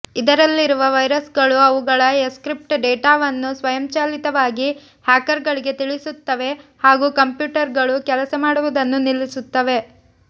ಇದರಲ್ಲಿರುವ ವೈರಸ್ಗಳು ಅವುಗಳ ಎನ್ಕ್ರಿಪ್ಟ್ ಡೆಟಾವನ್ನು ಸ್ವಯಂಚಾಲಿತವಾಗಿ ಹ್ಯಾಕರ್ಗಳಿಗೆ ತಿಳಿಸುತ್ತವೆ ಹಾಗೂ ಕಂಪ್ಯೂಟರ್ಗಳು ಕೆಲಸ ಮಾಡುವುದನ್ನು ನಿಲ್ಲಿಸುತ್ತವೆ